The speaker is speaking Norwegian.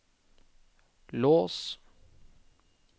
lås